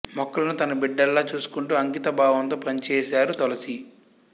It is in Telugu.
మొక్కలను తన బిడ్డల్లా చూసుకుంటూ అంకిత భావంతో పనిచేశారు తులసి